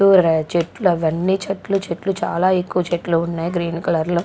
కూరగాయల చెట్లు అవి అన్ని చెట్లు చెట్లు చాలా ఎక్కువ చెట్లు ఉన్నాయి గ్రీన్ కలర్ లో--